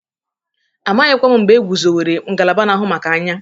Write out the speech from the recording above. Amaghịkwa m mgbe egwuzowere ngalaba na-ahụ maka anya.